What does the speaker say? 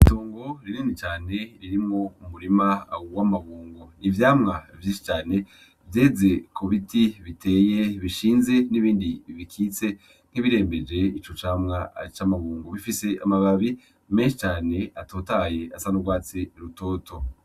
Itongo rinini cane ririmwo umurima w'amabungu. Ivyamwa vyinshi cane vyeze ku biti biteye bishinze n'ibindi bikitse nk'ibirembeje ico camwa c'amabungo. Bifise amababi menshi cane atotahaye asa n'urwatsi rutoto.